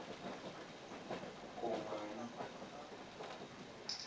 komani